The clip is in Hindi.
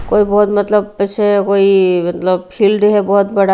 कोई बहुत मतलब ऐसे कोई मतलब फील्ड है बहुत बड़ा--